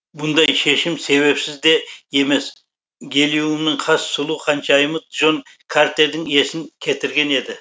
бұндай шешім себепсіз де емес гелиумның хас сұлу ханшайымы джон картердің есін кетірген еді